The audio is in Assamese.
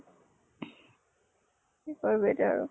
কি কৰিবি এতিয়া আৰু